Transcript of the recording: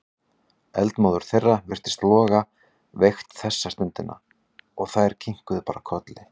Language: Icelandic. Eldmóður þeirra virtist loga veikt þessa stundina og þær kinkuðu bara kolli.